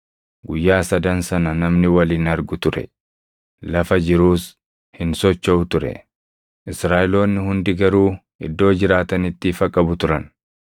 Guyyaa sadan sana namni wal hin argu ture; lafa jiruus hin sochoʼu ture. Israaʼeloonni hundi garuu iddoo jiraatanitti ifa qabu turan.